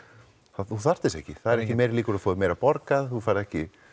þú þarft þess ekki það eru ekki meiri líkur þú fáir meira borgað þú færð ekki